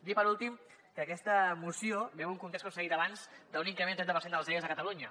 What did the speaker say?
dir per últim que aquesta moció ve d’un context com s’ha dit abans d’un increment del trenta per cents dels eros a catalunya